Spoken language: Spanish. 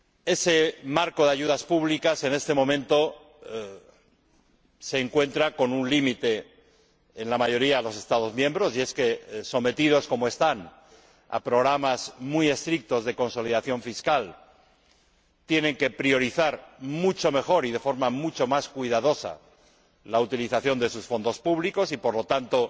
Ese marco de ayudas públicas, en este momento, se encuentra con un límite en la mayoría de los Estados miembros, y es que, sometidos como están a programas muy estrictos de consolidación fiscal, tienen que priorizar mucho mejor y de forma mucho más cuidadosa la utilización de sus fondos públicos y, por lo tanto,